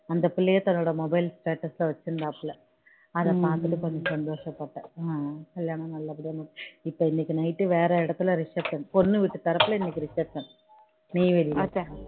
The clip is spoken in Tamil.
அந்த பிள்ளையே தன்னோட mobile status சா வச்சிருந்தா போல அதை பார்த்துட்டு கொஞ்சம் சந்தோஷம் பட்டேன் கல்யாணம் நல்ல படியா முடிஞ்சு இப்போ இன்னைக்கு டு வேற இடத்துல reception பொண்ணு வீட்டு தரப்பில இன்னைக்கு reception நெய்வேலி